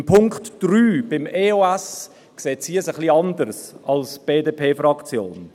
Beim Punkt 3, bei der EOS, sieht sie es ein wenig anders als die BDP-Fraktion.